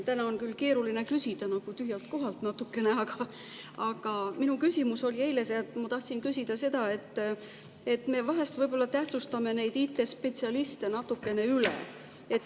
Täna on küll keeruline küsida nagu natukene tühjalt kohalt, aga eile ma tahtsin küsida seda, et me vahel võib-olla tähtsustame neid IT-spetsialiste natukene üle.